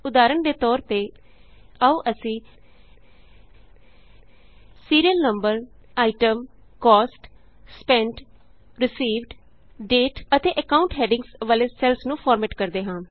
ਉਦਾਹਰਣ ਦੇ ਤੌਰ ਤੇ ਆਉ ਅਸੀਂ serial number item cost spent received date ਅਤੇ ਅਕਾਉਂਟ ਹੈਡਿੰਗਸ ਵਾਲੇ ਸੈੱਲਸ ਨੂੰ ਫਾਰਮੈੱਟ ਕਰਦੇ ਹਾਂ